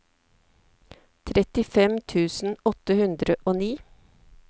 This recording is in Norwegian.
trettifem tusen åtte hundre og ni